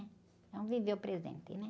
Vamos viver o presente, né?